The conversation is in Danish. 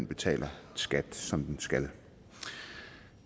betaler skat som den skal